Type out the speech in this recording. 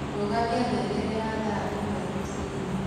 Rũgamĩa ngengere ya thaa ĩmwe rũcĩĩnĩ